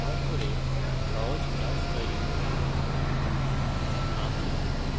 এখন eclipse ব্যবহার করে সহজ class তৈরী করি